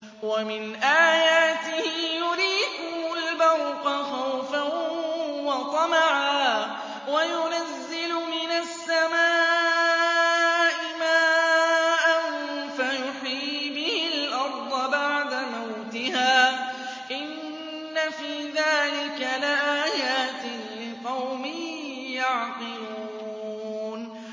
وَمِنْ آيَاتِهِ يُرِيكُمُ الْبَرْقَ خَوْفًا وَطَمَعًا وَيُنَزِّلُ مِنَ السَّمَاءِ مَاءً فَيُحْيِي بِهِ الْأَرْضَ بَعْدَ مَوْتِهَا ۚ إِنَّ فِي ذَٰلِكَ لَآيَاتٍ لِّقَوْمٍ يَعْقِلُونَ